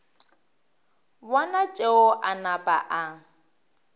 bona tšeo a napa a